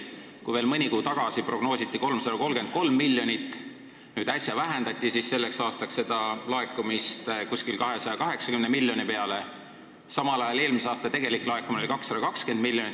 Kui veel mõni kuu tagasi prognoositi selleks laekumiseks 333 miljonit, siis äsja vähendati seda umbes 280 miljonile, samal ajal kui eelmisel aastal laekus tegelikult 220 miljonit.